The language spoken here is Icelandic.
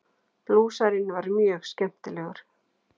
Blúsarinn var mjög skemmtilegur.